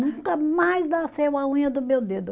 Nunca mais nasceu a unha do meu dedo.